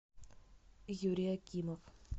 юрий акимов